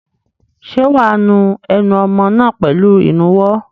Ṣé wà á nu ẹnu ọmọ náà pẹ̀lú ìnuwọ́?